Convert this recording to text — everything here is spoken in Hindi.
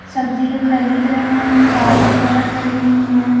सब्जी खरीद रहे हैं गाड़ी वगैरह खड़ी हुई हैं।